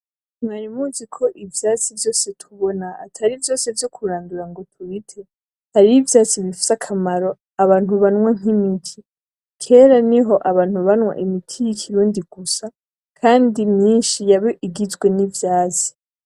Mwari muziko ivyatsi vyose tubona atari vyose vyo kurandura ngo tubite hariho ivyatsi bifise akamaro abantu banwa nk'imiti kera niho abantu banwa imiti y'ikurundi gusa, kandi imyinshi yaba igizwe nivyatsi.